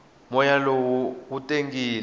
moya lowu wu tangile